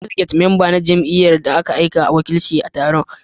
Delegate mamba ne na jamiyy'ar da aka aika don wakilci a taron